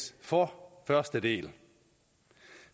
for første del